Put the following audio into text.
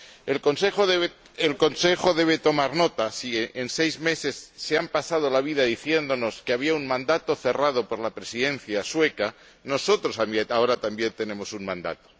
El Consejo debe tomar nota si en seis meses se han pasado la vida diciéndonos que había un mandato cerrado por la Presidencia sueca, nosotros ahora también tenemos un mandato.